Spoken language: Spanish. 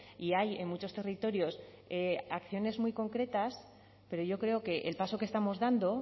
y hay en muchos territorios acciones muy concretas pero yo creo que el paso que estamos dando